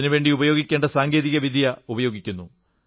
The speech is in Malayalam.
അതിനുവേണ്ടി സാങ്കേതിക വിദ്യ ഉപയോഗിക്കുന്നു